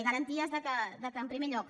i garanties que en primer lloc